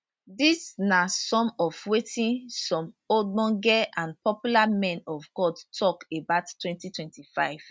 dis na some of wetin some ogbonge and popular men of god tok about 2025